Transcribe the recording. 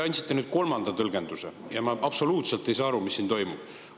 Te andsite nüüd kolmanda tõlgenduse ja ma absoluutselt ei saa aru, mis siin toimub.